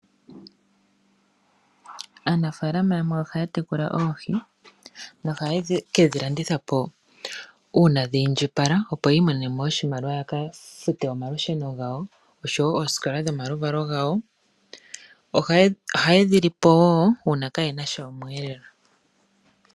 Aanafaalama yamwe oha ya tekula oohi, nohaye ke dhilanditha po uuna dha indjipala ya imonene oshimaliwa yaka fute omalusheno gawo, oshowo oosikola dhomaluvalo gawo. Oha yedhilipo wo uuna kaayena sha osheelelwa.